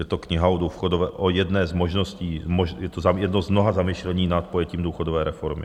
Je to kniha o jedné z možností, je to jedno z mnoha zamyšlení nad pojetím důchodové reformy.